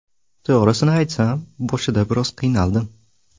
To‘g‘risini aytsam, boshida biroz qiynaldim.